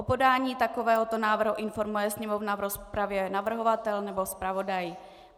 O podání takovéhoto návrhu informuje Sněmovnu v rozpravě navrhovatel nebo zpravodaj.